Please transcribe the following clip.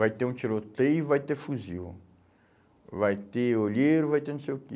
Vai ter um tiroteio, vai ter fuzil, vai ter olheiro, vai ter não sei o quê.